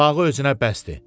Bağı özünə bəsdir.